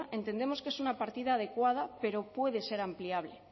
entendemos que es una partida adecuada pero puede ser ampliable